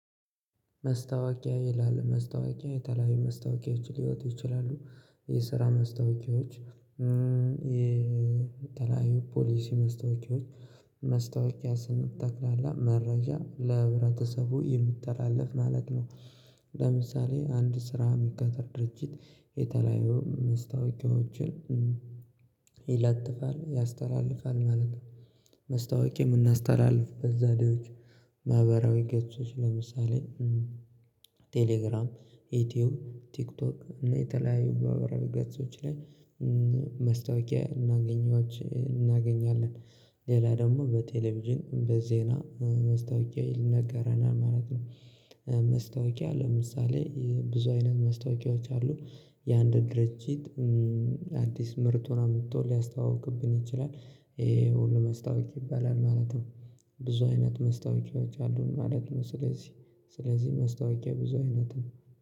መስታወቂያ ይላል መስታወቂያ የተለያዩ መስታወቂያችን ሊወጡ ይችላሉ። የስራ መስታወቂያዎች። የተለያዩ ፖሊስ መስታወቂያዎች መስታወቂያ ስንት ተክላላ መረጃ ለህብረተሰቡ የሚተላለፍ ማለት ነው። ለምሳሌ አንድ ስራ የሚከተል ድርጅት የተለያየ መስታወቂያዎችን ይለጥፋል ያስተላልፋል ማለት ነው። መስታወቅ የምናስተላልፍ በዛሬዎች ማህበራዊ ገጾች ለምሳሌ ቴሌግራም ኢትዮ ቲክቶክ እና የተለያዩ ባበረገጾች ላይ እናገኛች እናገኛለን። ሌላ ደግሞ በቴሌቪዥን በዜና መስታወቂያ ይነገረናል ማለት ነው። መስታወቂያ ለምሳሌ ብዙ አይነት መስታወቂያዎች አሉ። የአንድ ድርጅት አዲስ ምርቱን አምጥቶ ሊያስተዋውቅብን ይችላል። ይሄ ሁሉ መስታወቂያ ይባላል ማለት ነው። ብዙ አይነት መስታወቂያዎች አሉን ማለት ነው። ስለዚህ ስለዚህ መስታወቂያ ብዙ አይነት ነው